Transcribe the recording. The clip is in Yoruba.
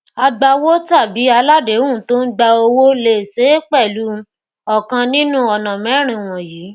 agbawó tàbí aláàdéhùn tó ń gba owó lè ṣe é pẹlú ọkàn nínú ọnà mẹrin wọnyìí